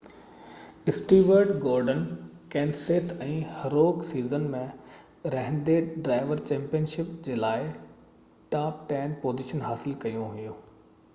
Stuart Gordon ڪينسيٿ ۽ هروڪ season ۾ رهندي ڊرائيور چيمپيئن شپ جي لاءِ ٽاپ ٽين پوزيشنون حاصل ڪيون